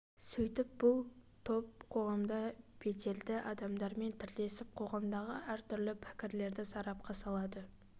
сөйтіп бұл топ қоғамда беделді адамдармен тілдесіп қоғамдағы әртүрлі пікірлерді сарапқа салады